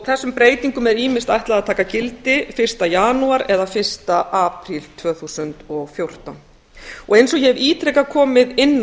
þessum breytingum er ýmist ætlað að taka gildi fyrsta janúar eða fyrsta apríl tvö þúsund og fjórtán eins og ég hef ítrekað komið inn